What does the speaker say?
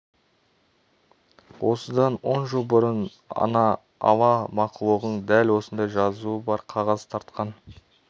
осыдан он жыл бұрын ана ала мақұлығың дәл осындай жазуы бар қағаз тартқан